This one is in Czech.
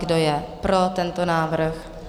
Kdo je pro tento návrh?